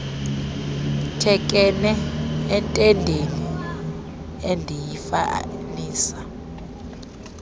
thekenee entendeni endiyifanisa